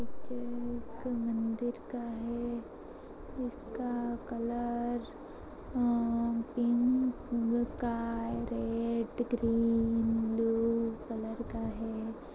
Picture एक मंदिर का है। जिसका colour uh pink sky red green blue colour का है।